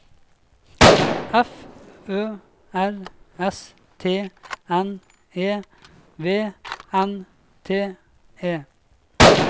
F Ø R S T N E V N T E